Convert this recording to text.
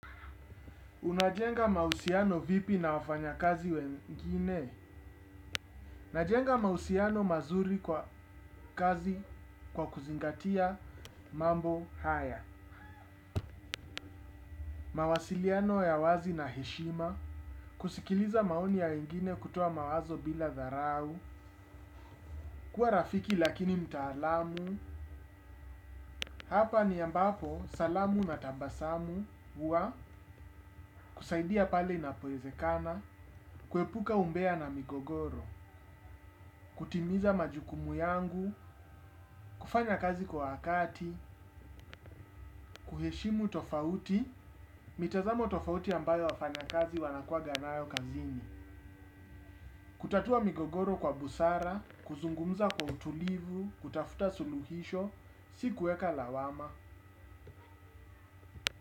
Unajenga mahusiano vipi na wafanyakazi wengine? Najenga mausiano mazuri kwa kazi kwa kuzingatia mambo haya. Mawasiliano ya wazi na heshima. Kusikiliza maoni ya wengine kutoa mawazo bila dharau. Kuwa rafiki lakini mtaalamu. Hapa ni ambapo salamu na tabasamu. Huwa kusaidia pale inapowezekana. Kuepuka umbea na migogoro. Kutimiza majukumu yangu. Kufanya kazi kwa wakati. Kuheshimu tofauti. Mitazamo tofauti ambayo wafanyakazi wanakuwanganayo kazini. Kutatua migogoro kwa busara. Kuzungumza kwa utulivu. Kutafuta suluhisho. Si kuweka lawama.